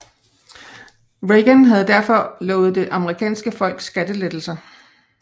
Reagan havde derfor lovet det amerikanske folk skattelettelser